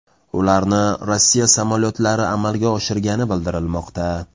Ularni Rossiya samolyotlari amalga oshirgani bildirilmoqda.